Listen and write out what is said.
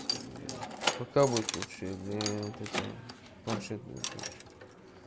пока будет лучше или вот это планшет будет лучше